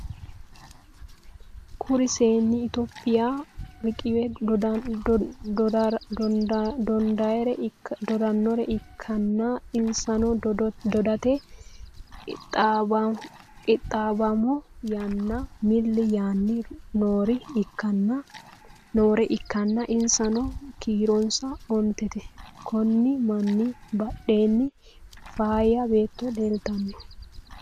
Kuri seenni itiyophiya riqiwe dodannore ikkanna, insano dodate qixxaabbommo yaanni milli yaanni noore ikkanna, insano kiironsa ontete, konni manni badheenni faayya batto leeltanno.